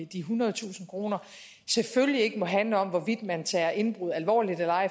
de ethundredetusind kr selvfølgelig ikke må handle om hvorvidt man tager indbrud alvorligt